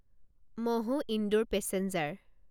Mhow Indore passenger